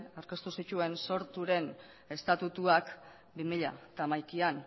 aurkeztu zituen sorturen estatutuak bi mila hamaikaan